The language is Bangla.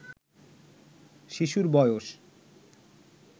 শিশুর বয়স